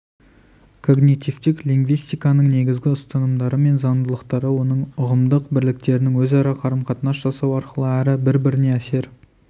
когнитивтік линвистиканың негізгі ұстанымдары мен заңдылықтары оның ұғымдық бірліктерінің өзара қарым-қатынас жасауы арқылы әрі бір-біріне әсер